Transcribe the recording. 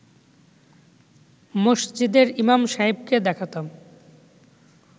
মসজিদের ইমাম সাহেবকে দেখাতাম